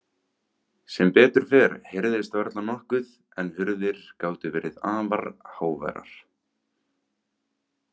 Sem betur fer heyrðist varla nokkuð en hurðir gátu verið afar háværar.